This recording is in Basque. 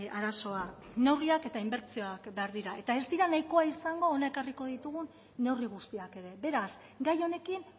arazoa neurriak eta inbertsioak behar dira eta ez dira nahikoa izango hona ekarriko ditugun neurri guztiak ere beraz gai honekin